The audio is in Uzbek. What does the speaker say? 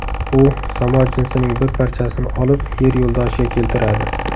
U samo jinsining bir parchasini olib Yer yo‘ldoshiga keltiradi.